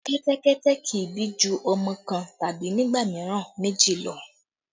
Kẹ́tẹ́kẹ́tẹ́ kì í bí ju ọmọ kan tàbí nígbà mìíràn méjì lọ